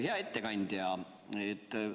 Hea ettekandja!